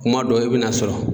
Kuma dɔw e bɛ n'a sɔrɔ